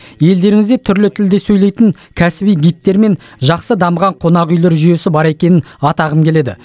елдеріңізде түрлі тілде сөйлейтін кәсіби гидтер мен жақсы дамыған қонақүйлер жүйесі бар екенін атағым келеді